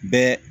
Bɛɛ